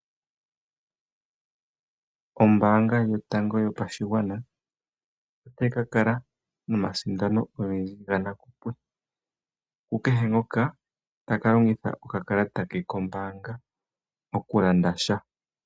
Ombaanga yotango yopashigwana ota yi ka kala noomsindano ogendji ga nakupwe, kukekehe ngoka ta ka longitha okakalata ke kombaanga, oku landa sha.